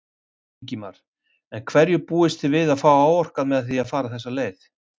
Ingimar: En hverju búist þið við að fá áorkað með því að fara þessa leið?